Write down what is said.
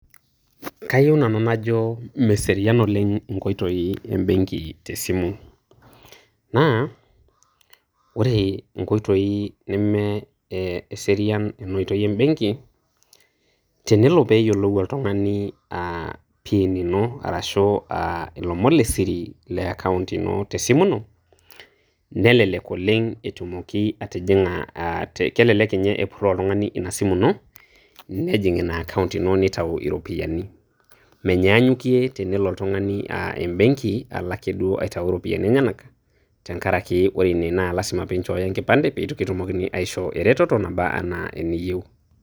Kayieu nanu najo meserian oleng' inkoitoi embegi tesimu. Naa ore inkoitoi nemeserian ena oitoi embengi, tenelo peyolou oltung'ani aa pin ino arashu ilomon le siri le akaount ino te simu ino nelelek oleng' etumoki atijinga, kelelek ninye epuroo oltungani ina simu ino nejing ina akaount ino neitayu iropiani. Meinyanyukie tenelo embeng'i alo ake duo aitayu iropiani enyena teng'arake ore ina naa, lazima pee inchooyo enkipande pee kitumokini aishoo eretoto nabaa ana eniyou.